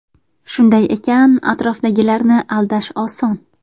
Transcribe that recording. Shunday ekan atrofdagilarni aldash oson.